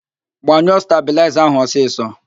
Gbanyụo stabịlaịza ahụ ọsịsọ!